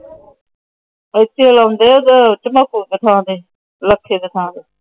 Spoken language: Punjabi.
ਲਾਖੇ ਕੇ ਥਾਂ ਤੇ। ਲੈ! ਏਧਰ ਕੌਣ ਜਾਂਦਾ?